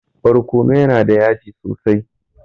Barkono yana da yaji sosai.